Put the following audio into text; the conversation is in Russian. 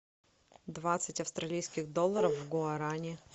двадцать австралийских долларов в гуарани